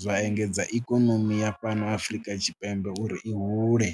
zwa engedza ikonomi ya fhano Afrika Tshipembe uri i hule.